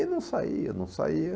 E não saía, não saía.